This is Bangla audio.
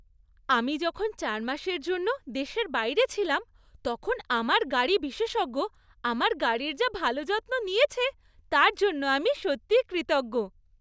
আমি যখন চার মাসের জন্য দেশের বাইরে ছিলাম তখন আমার গাড়ি বিশেষজ্ঞ আমার গাড়ির যা ভালো যত্ন নিয়েছে তার জন্য আমি সত্যি কৃতজ্ঞ।